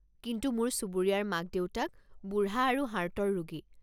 কিন্তু মোৰ চুবুৰীয়াৰ মাক-দেউতাক বুঢ়া আৰু হাৰ্টৰ ৰোগী।